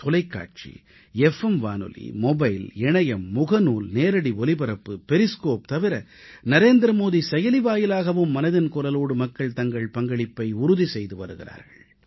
தொலைக்காட்சி எஃப் எம் வானொலி மொபைல் இணையம் பேஸ்புக் நேரடி ஒலிபரப்பு பெரிஸ்கோப் தவிர நரேந்திரமோடி செயலி வாயிலாகவும் மனதின் குரலோடு மக்கள் தங்கள் பங்களிப்பை உறுதி செய்து வருகிறார்கள்